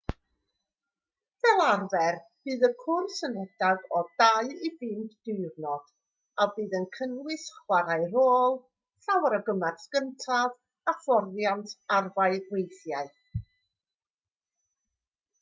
fel arfer bydd cwrs yn rhedeg o 2-5 diwrnod a bydd yn cynnwys chwarae rôl llawer o gymorth cyntaf a hyfforddiant arfau weithiau